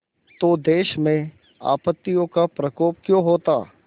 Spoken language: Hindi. तो देश में आपत्तियों का प्रकोप क्यों होता